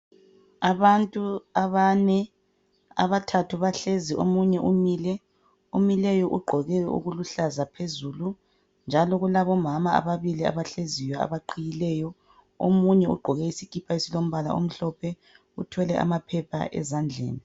Abantu abane, abathathu bahlezi omunye umile. Omileyo ugqoke okuluhlaza phezulu. Njalo kulabo mama ababili abahleziyo abaqhiyileyo. Omunye ugqoke isikipa esilombala omhlophe uthwele amaphepha ezandleni.